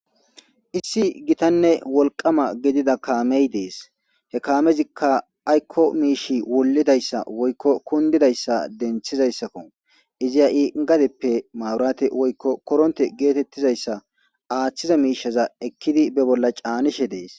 issi gitanne wolqama gidida kaamey dees he kaamezikka aykko miishi wollidayssa woykko kundidayssa denthizayssakko izi ha'i gadeppe mawurate woykko koronte geetettizayssa aaththiza miishaza ekkidi be bolla caanishe dees